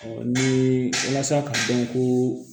ni walasa k'a dɔn ko